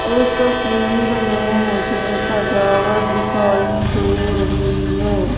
इस तस्वीर में मुझे सजावट दिखाई दे रही है।